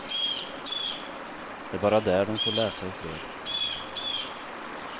Det är bara där de får läsa ifred.